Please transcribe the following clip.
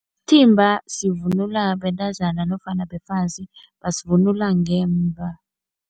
Isithimba sivunulwa bentazana nofana befazi, basivunula ngemva.